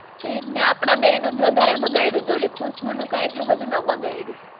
ઈજ ને, આપડા બેયનું જ વધારે બાગયડું તું, ઓલી ખુશ્બુ નું કાંઈ એટલું બધું ન બાગાયડું.